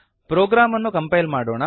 program ಅನ್ನು compile ಮಾಡೋಣ